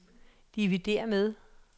dividér med